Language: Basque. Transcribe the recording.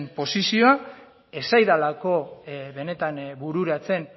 posizioa ez zaidalako benetan bururatzen